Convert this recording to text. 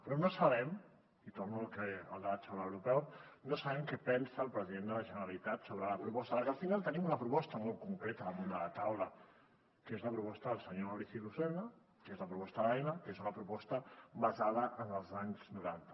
però no sabem i torno al debat sobre l’aeroport què pensa el president de la generalitat sobre la proposta perquè al final tenim una proposta molt concreta damunt de la taula que és la proposta del senyor maurici lucena que és la proposta d’aena que és una proposta basada en els anys noranta